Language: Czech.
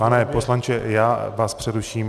Pane poslanče, já vás přeruším.